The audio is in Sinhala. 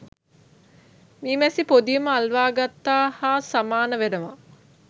මී මැසි පොදියම අල්වාගත්තා හා සමාන වනවා.